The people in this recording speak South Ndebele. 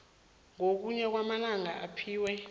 ngokuya kwamalanga aphiwa